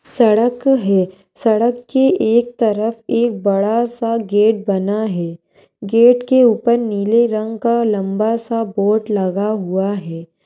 सड़क है सड़क के एक तरफ एक बड़ा सा गेट बना है गेट के ऊपर नीले रंग का लंबा सा बोर्ड लगा हुआ है।